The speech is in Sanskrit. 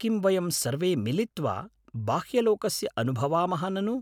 किं वयं सर्वे मिलित्वा बाह्यलोकस्य अनुभवामः ननु ?